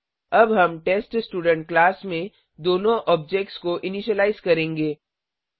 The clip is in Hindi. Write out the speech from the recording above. अब हम टेस्टस्टूडेंट क्लास में दोनो ऑब्जेक्ट्स को इनीशिलाइज करेंगे